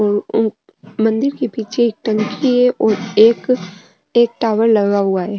मंदिर के पीछे एक टंकी है और एक एक टावर लगा हुआ है।